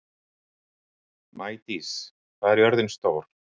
Maídís, hvað er jörðin stór?